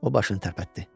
O başını tərpətdi.